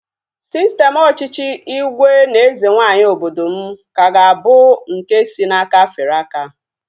Sistem ọchịchị ígwè na eze nwaanyị obodo m ka ga-abụ nke si n'aka fere aka